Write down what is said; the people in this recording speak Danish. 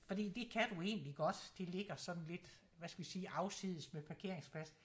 Fordi det kan du egentlig godt det ligger sådan lidt hvad skal vi sige afsides med parkeringsplads